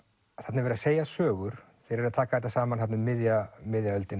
þarna er verið að segja sögur þeir taka þetta saman um miðja miðja öldina